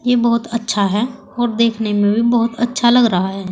ये बहुत अच्छा है और देखने में भी बहुत अच्छा लग रहा है।